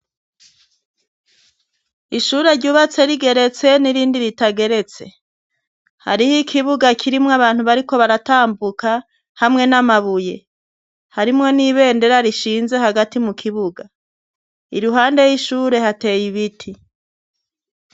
Ishure ryubatse rigeretse n'irindi ritageretse hariho ikibuga kirimwo abantu bariko baratambuka hamwe n'amabuye harimwo n'ibendera rishinze hagati mu kibuga i ruhande y'ishure hateye ibiti.